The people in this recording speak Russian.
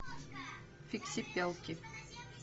фиксипелки